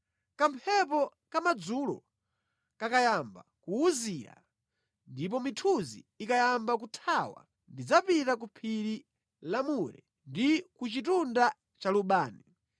Kamphepo kamadzulo kakayamba kuwuzira ndipo mithunzi ikayamba kuthawa, ndidzapita ku phiri la mure ndi ku chitunda cha lubani.